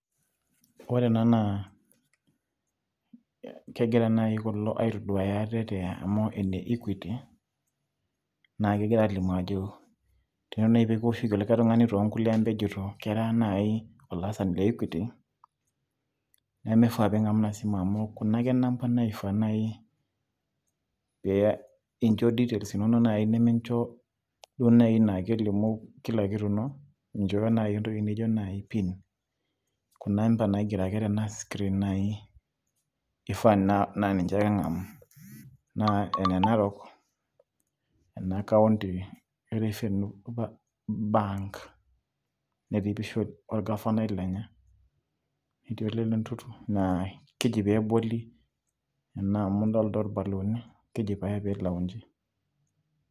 ore ena naa kegira naaji kulo aitoduaaya ate, te amau ile equity, naa kegira aalimu ajo ,ore naaji pee kiwoshoki likae tung'ani too kulie amba ajeito kera naaji olaasani le equity, nemifaa pee ing'amu ina simu amu kuna ake namba naifaa naai pee incho details inono naaji nemincho naai naa kelimu kila kitu ino, minchooyo naaji entoki naijo pin, kuna amba ake naaji naigero tena screen naai ifaa naa nince ake ing'amu. naa ene narok ena kaunti e refenue bank netii empisha olgafanai lenye amu adolta ole ntuntu, keji pae pee iloonji.